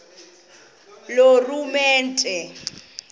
loorhulumente